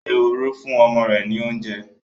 Ehoro fún ọmọ rẹ̀ ní oúnjẹ.